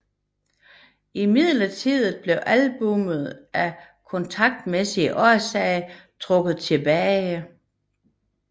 Imidlertid blev albummet af kontraktmæssige årsager trukket tilbage